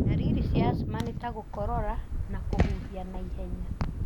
Ndariri cia asthma nĩ ta gũkorora na kũhuhia na ihenya.